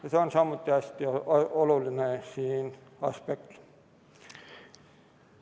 Ja see on samuti hästi oluline aspekt.